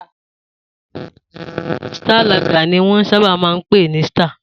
Star Lager ni wọ́n sábà máa ń pè ní Star